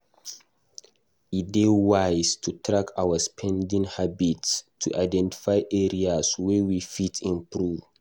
E dey wise to track our spending habits to identify areas wey we fit improve.